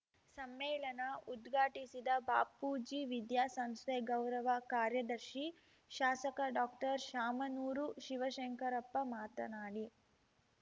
ಸಮ್ಮೇಳನ ಉದ್ಘಾಟಿಸಿದ ಬಾಪೂಜಿ ವಿದ್ಯಾಸಂಸ್ಥೆ ಗೌರವ ಕಾರ್ಯದರ್ಶಿ ಶಾಸಕ ಡಾಕ್ಟರ್ಶಾಮನೂರು ಶಿವಶಂಕರಪ್ಪ ಮಾತನಾಡಿ